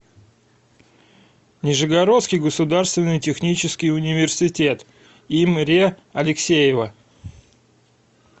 нижегородский государственный технический университет им ре алексеева